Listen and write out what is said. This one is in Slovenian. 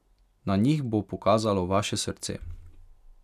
Na njih bo pokazalo vaše srce.